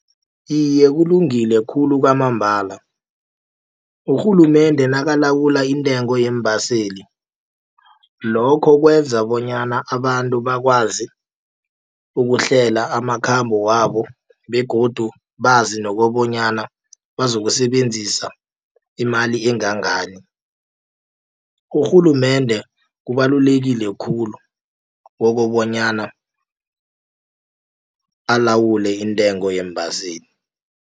Iye, kulungile khulu kwamambala, urhulumende nakalawula intengo yeembaseli. Lokho kwenza bonyana abantu bakwazi ukuhlela amakhambo wabo begodu bazi nokobonyana bazokusebenzisa imali engangani. Urhulumende kubalulekile khulu kokobonyana alawule intengo yeembaseli.